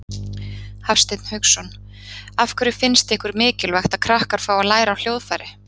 Hafsteinn Hauksson: Af hverju finnst ykkur mikilvægt að krakkar fái að læra á hljóðfæri?